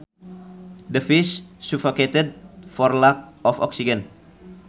The fish suffocated for lack of oxygen